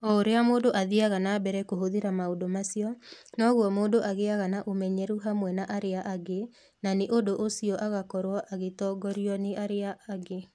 O ũrĩa mũndũ athiaga na mbere kũhũthĩra maũndũ macio, noguo mũndũ agĩaga na ũmenyeru hamwe na arĩa angĩ, na nĩ ũndũ ũcio agakorũo agĩtongorio nĩ arĩa angĩ.